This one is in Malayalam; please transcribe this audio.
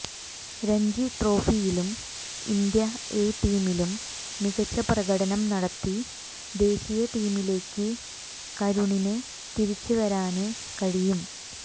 രഞ്ജി ട്രോഫിയിലും ഇന്ത്യ എ ടീമിലും മികച്ച പ്രകടനം നടത്തി ദേശീയ ടീമിലേക്ക് കരുണിന് തിരിച്ച് വരാന് കഴിയും